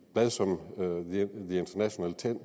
blad som global